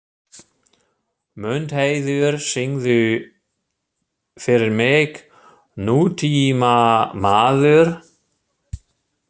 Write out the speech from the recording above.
Mundheiður, syngdu fyrir mig „Nútímamaður“.